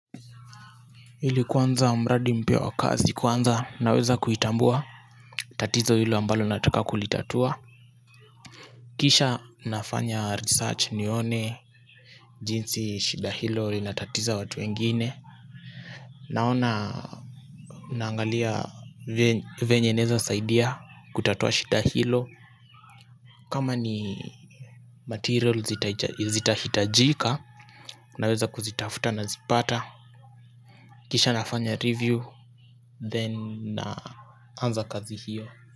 Ili kuanza mradi mpya wa kazi kwanza naweza kuitabua tatizo hilo ambalo nataka kulitatua. Kisha nafanya research nione jinsi shida hilo linatatiza watu wengine naona naangalia venye naweza saidia kutatua shinda hilo kama ni material zita hitajika naweza kuzitafuta na zipata kisha nafanya review. Then naanza kazi hiyo.